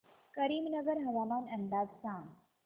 करीमनगर हवामान अंदाज सांग